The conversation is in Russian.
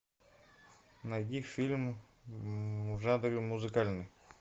найди фильм в жанре музыкальный